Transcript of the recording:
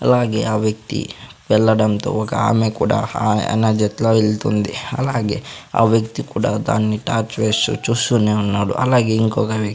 అలాగే ఆ వ్యక్తి వెళ్ళడంతో ఒక ఆమె కూడా ఆయన జత్లో వెళ్తుంది అలాగే ఆ వ్యక్తి కూడా దాన్ని టార్చ్ వేసి చూస్తూనే ఉన్నాడు అలాగే ఇంకొక వ్య--